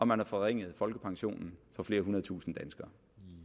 man har forringet folkepensionen for flere hundrede tusinde danskere